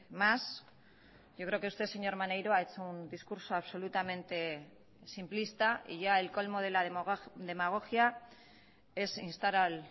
más yo creo que usted señor maneiro ha hecho un discurso absolutamente simplista y ya el colmo de la demagogia es instar al